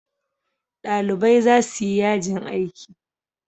Ɗalibai za su yi yajin aiki.